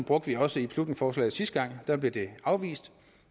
brugte vi også i beslutningsforslaget sidste gang der blev det afvist